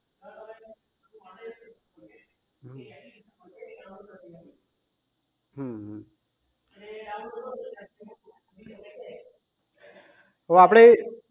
હમ અમ અવે આપડે